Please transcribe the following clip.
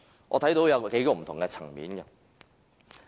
我想就幾個不同的層面分析。